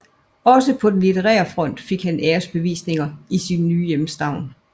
Også på den litterære front fik han æresbevisninger i sin nye hjemstavn